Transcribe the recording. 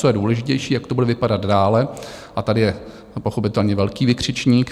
Co je důležitější, jak to bude vypadat dále, a tady je pochopitelně velký vykřičník.